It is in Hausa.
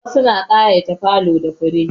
Wasu na ƙayata falo da fure.